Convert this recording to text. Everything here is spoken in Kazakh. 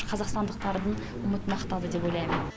қазақстандықтардың үмітін ақтады деп ойлаймын